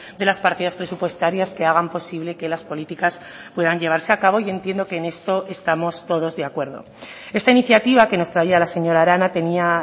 de las partidas presupuestarias que hagan posible que las políticas puedan llevarse a cabo yo entiendo que en esto estamos todos de acuerdo esta iniciativa que nos traía la señora arana tenía